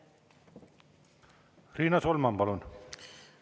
Riina Solman, palun!